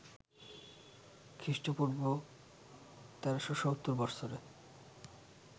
খ্রীঃ পূঃ ১৩৭০ বৎসরে